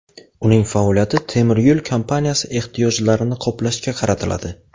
Uning faoliyati temiryo‘l kompaniyasi ehtiyojlarini qoplashga qaratiladi.